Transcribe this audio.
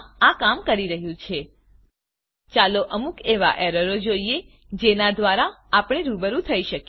આ કામ કરી રહ્યું છે ચાલો અમુક એવાં એરરોને જોઈએ જેનાં દ્વારા આપણે રૂબરૂ થઇ શકીએ